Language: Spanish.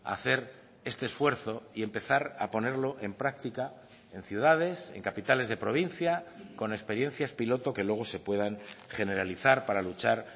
hacer este esfuerzo y empezar a ponerlo en práctica en ciudades en capitales de provincia con experiencias piloto que luego se puedan generalizar para luchar